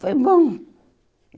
Foi bom.